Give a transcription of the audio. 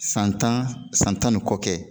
San tan san tan ni kɔ kɛ